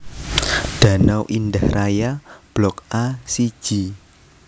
Danau Indah Raya Blok A siji